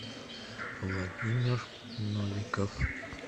владимир новиков